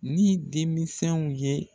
Ni denminsɛnw ye.